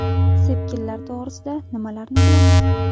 Sepkillar to‘g‘risida nimalarni bilamiz?.